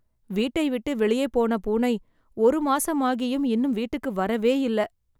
வீட்டை விட்டு வெளியே போன பூனை, ஒரு மாசம் ஆயும் இன்னும் வீட்டுக்கு வரவே இல்ல.